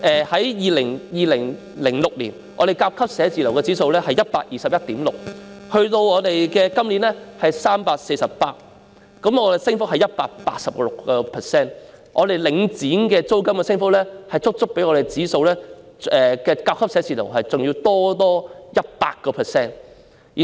在2006年，香港甲級寫字樓的租金指數是 121.6， 今年是 348， 升幅是 186%，" 領剪"租金的升幅足足較甲級寫字樓的指數高出 100%。